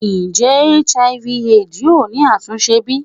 Njẹ Hiv/Aids yoo ni atunse bi?